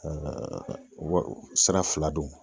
wa sira fila do.